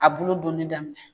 A bulu duni daminɛ.